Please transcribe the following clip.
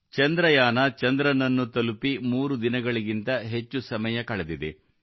ಚಂದ್ರಯಾನ ಚಂದ್ರನನ್ನು ತಲುಪಿ ಮೂರು ದಿನಗಳಿಗಿಂತ ಹೆಚ್ಚು ಸಮಯ ಕಳೆದಿದೆ